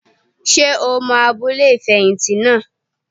Ṣé o mọ abúlé ìfẹ̀yìntì naa?